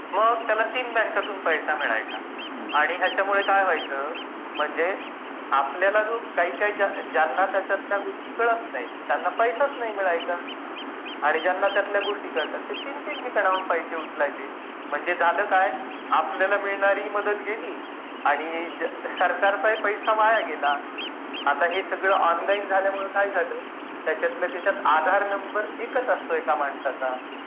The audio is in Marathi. मग त्याला ३ बँकांतुन पैसा मिळायचा.आणि त्याच्यामुळे काय व्हायच म्हणजे आपल्याला जो काय ज्यांना गोष्टी कळत नाही त्यांना पैसा नाही मिळायचा आणि ज्यांना या गोष्टी समजायच्या ते ३ -३ ठिकाणाहून पैसे उचलायचे.म्हणजे झाल काय आपल्याला मिळणारी मदत गेली आणि सरकारचा पैसा वाया गेला आहे. सगळं ऑनलाइन झाल्यामुळे त्याचा आधार नंबर एक असतो एका माणसाचा